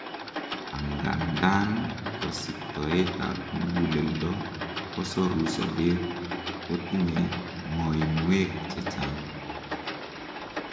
angandan kosibtoet ab muguleldo kosoru sobet, kotinyei ngoinwek chechang